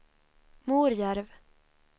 Morjärv